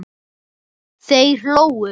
Þeir hlógu.